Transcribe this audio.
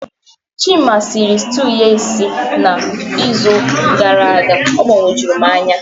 Chima sịrị stew ya esi na izu gara aga, ọ gbagojuru m anya